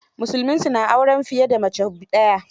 Musulmi su na auren fiye da mace daya.